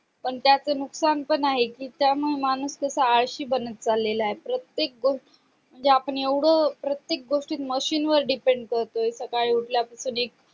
पण त्याच नुकसान पण आहे कि त्या मुळे माणूस कसा आळशी बनत चालाय प्रत्येक गोष्ट म्हणजे आपण एवढं प्रत्येक गोष्टी आपण machine वर depend सकाळी उठल्या पासून एक